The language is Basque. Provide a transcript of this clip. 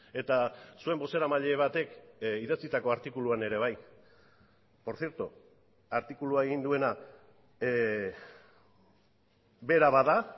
eta zuen bozeramaile batek idatzitako artikuluan ere bai por cierto artikulua egin duena bera bada